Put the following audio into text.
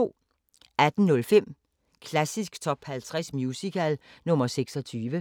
18:05: Klassisk Top 50 Musical – nr. 26